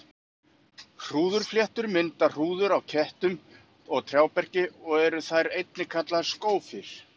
Hrúðurfléttur mynda hrúður á klettum og trjáberki og eru þær einnig kallaðar skófir.